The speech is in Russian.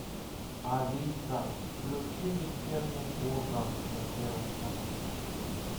алиса включи вечерний ургант на первом канале